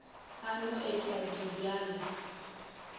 a no et a dibjalwa